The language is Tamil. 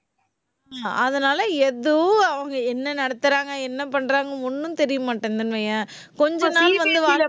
அதனால எதுவும் அவங்க என்ன நடத்தறாங்க? என்ன பண்றாங்க? ஒண்ணும் தெரிய மாட்டேங்குதுன்னு வையேன். கொஞ்ச நாள் வந்து